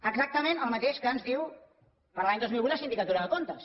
exactament el mateix que ens diu per a l’any dos mil vuit la sindicatura de comptes